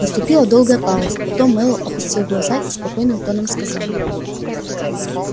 наступила долгая пауза потом мэллоу опустил глаза и спокойным тоном сказал